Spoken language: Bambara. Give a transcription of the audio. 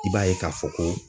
I b'a ye ka fɔ ko